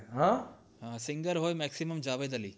હે singer હોય maximum જાવે જાલી